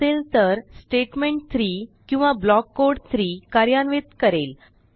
नसेल तर स्टेटमेंट 3 किंवा ब्लॉक कोड 3 कार्यान्वित करेल